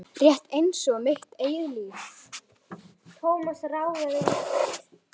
Rétt einsog mitt eigið líf.